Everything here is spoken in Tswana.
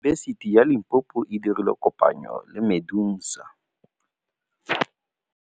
Yunibesiti ya Limpopo e dirile kopanyô le MEDUNSA.